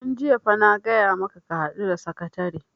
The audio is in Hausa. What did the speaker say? tun jiya fa na gaya maka ka haɗu da sakatare!